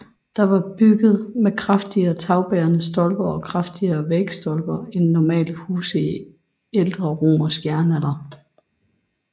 Det var bygget med kraftigere tagbærende stolper og kraftigere vægstolper end normale huse i ældre romersk jernalder